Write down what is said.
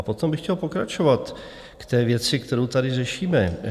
A potom bych chtěl pokračovat k té věci, kterou tady řešíme.